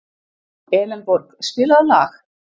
Elenborg, spilaðu lag.